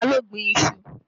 Ta ló gbin iṣu?